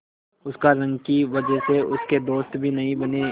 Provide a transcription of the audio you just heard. उसकी रंग की वजह से उसके दोस्त भी नहीं बने